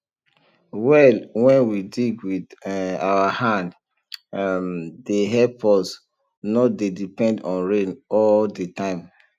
well wen we dig wit um our hand um dey help us nor dey depend on rain all de time